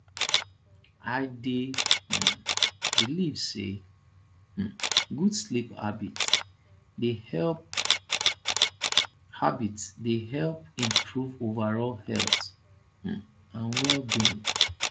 i dey um believe say um good sleep habits dey help habits dey help improve overall health um and wellbeing